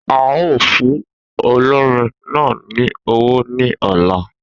A o fún olórin náà ní owó ní ọ̀la